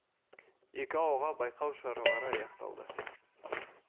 екі ауылға байқау шаралары аяқталды